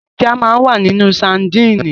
Ẹja máa ń wà nínú sadínì.